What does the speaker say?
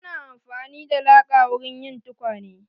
Ana amfani da laka wurin yin tukwane.